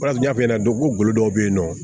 O de y'a f'i ɲɛna cogo dɔw bɛ yen nɔ